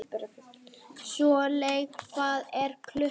Solveig, hvað er klukkan?